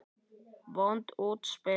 Vont útspil.